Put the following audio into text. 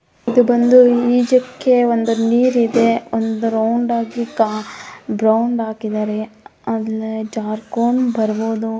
ಇದು ಬಂದು ಈಜಕ್ಕೆ ಒಂದು ನೀರ್ ಇದೆ ಒಂದು ರೌಂಡಗಿ ಬ್ರೌನ್ ಹಾಕಿದಾರೆ ಅಲ್ಲಿ ಜಾರಕೊಂಡು ಬರ್ಬೋದು --